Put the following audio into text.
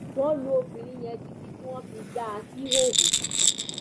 wọn lu obìnrin obìnrin yẹn títí tí wọn fi já a síhòhò